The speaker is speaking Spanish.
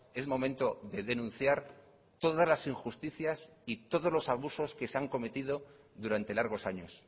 es momento de denunciar todas las injusticias y todos los abusos que se han cometido durante largos años